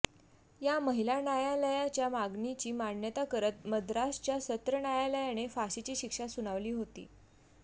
या महिला न्यायालयाच्या मागणीची मान्यता करत मद्रासच्या सत्र न्यायालयाने फाशीची शिक्षा सुनावली होती